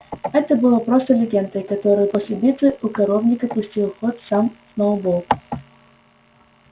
это было просто легендой которую после битвы у коровника пустил в ход сам сноуболл